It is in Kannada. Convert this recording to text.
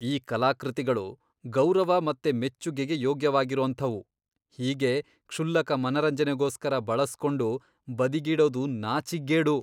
ಈ ಕಲಾಕೃತಿಗಳು ಗೌರವ ಮತ್ತೆ ಮೆಚ್ಚುಗೆಗೆ ಯೋಗ್ಯವಾಗಿರೋಂಥವು, ಹೀಗೆ ಕ್ಷುಲ್ಲಕ ಮನರಂಜನೆಗೋಸ್ಕರ ಬಳಸ್ಕೊಂಡು ಬದಿಗಿಡೋದು ನಾಚಿಕ್ಗೇಡು!